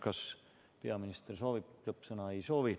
Kas peaminister soovib lõppsõna?